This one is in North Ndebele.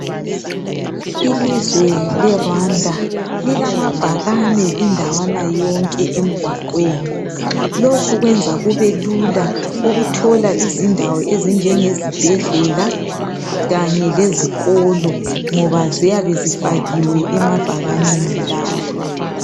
Ilizwe le"Rwanda " lilamabhakani indawana yonke emgwaqweni. Lokhu kwenza kubelula ukuthola indawo ezinjenge zibhedlela kanye lezikolo ngoba ziyabe zifakiwe emabhakanini lawa.